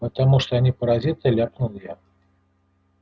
потому что они паразиты ляпнул я